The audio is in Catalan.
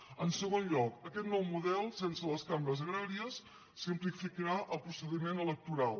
en segon lloc aquest nou model sense les cambres agràries simplificarà el procediment electoral